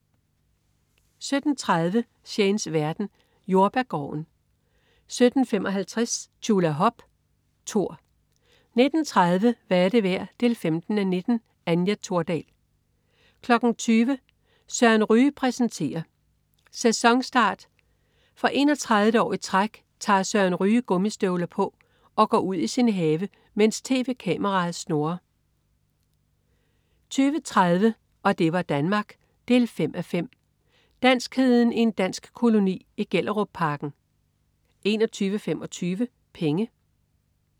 17.30 Shanes verden. Jordbærgården 17.55 Tjulahop. Tor 19.30 Hvad er det værd? 15:19. Anja Thordal 20.00 Søren Ryge præsenterer. Sæsonstart. For 31. år i træk tager Søren Ryge gummistøvler på og går ud i sin have, mens tv-kameraet snurrer 20.30 Og det var Danmark 5:5. Danskheden i en dansk koloni i Gellerupparken 21.25 Penge